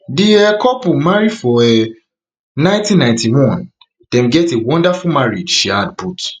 di um couple marry for um one thousand, nine hundred and ninety-one dem get a wonderful marriage she add put